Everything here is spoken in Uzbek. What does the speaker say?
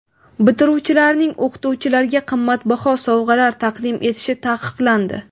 Bitiruvchilarning o‘qituvchilarga qimmatbaho sovg‘alar taqdim etishi taqiqlandi.